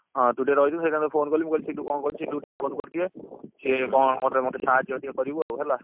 ହଁ ତୁ ଟିକେ ରହିଯିବୁ ମୁ ସେଇଥିପାଇଁ ତତେ phone କଲି ମୁ କହିଲି ସିଲୁ କଣ କରୁଛି ସିଲୁ କୁ ଟିକେ phone କରିଦିଏ ସିଏ କଣ ମତେ ମତେ ଟିକେ ସାହାଜ୍ୟ ଟିକେ କରିବୁ ଆଉ ହେଲା